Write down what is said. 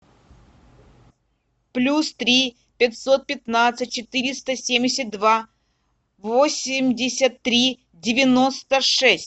плюс три пятьсот пятнадцать четыреста семьдесят два восемьдесят три девяносто шесть